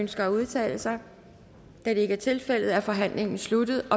ønsker at udtale sig da det ikke er tilfældet er forhandlingen sluttet